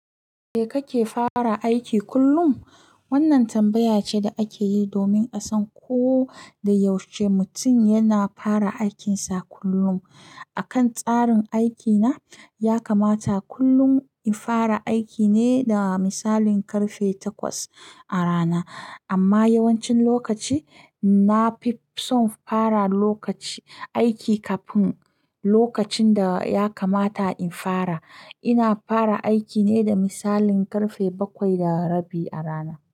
"Kai kake fara aiki kullum?" wannan tambaya ce da ake yi domin a san ko da yaushe mutum yana fara aikinsa kullum. A kan tsarin aikina, ya kamata kullum in fara aiki ne da misalin karfe takwas a rana. Amma yawancin lokaci na fi son fara lokaci aiki kafin lokacin da ya kamata in fara. Ina fara aiki ne da misalin karfe bakwai da rabi a rana.